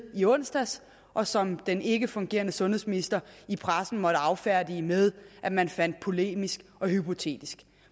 i onsdags og som den ikkefungerende sundhedsminister i pressen måtte affærdige med at man fandt det polemisk og hypotetisk